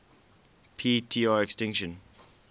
p tr extinction